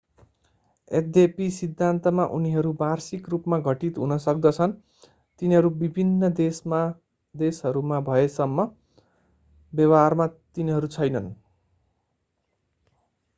यद्यपि सिद्धान्तमा उनीहरू वार्षिक रूपमा घटित हुन सक्दछन् तिनीहरू विभिन्न देशहरूमा भएसम्म व्यवहारमा तिनीहरू छैनन्।